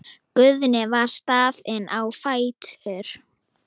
Guðni var staðinn á fætur.